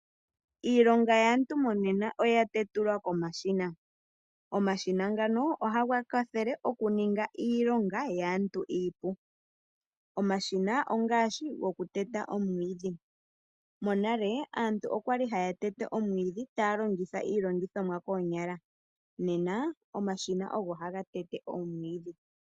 Iilonga yaantu monena oya tetulwa komashina. Omashina ngano ohaga kwathele okuninga iilonga yaantu iipu. Omashina ongaashi goku teta omwiidhi. Monale aantu oyali haya tete omwiidhi taya longitha iilongithomwa koonyala, nena omashina ogo haga tete omwiidhi.